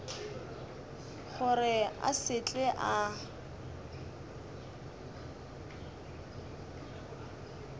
gore a se tle a